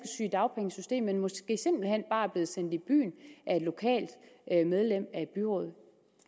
at men måske simpelt hen bare er blevet sendt i byen af et lokalt medlem af byrådet